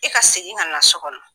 E ka segin ka na so kɔnɔ.